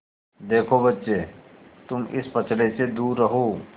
देखो बच्चे तुम इस पचड़े से दूर रहो